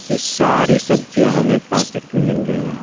ये सारी सब्जियां हमें पैकेट में मिल रही हैं।